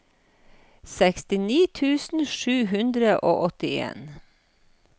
sekstini tusen sju hundre og åttien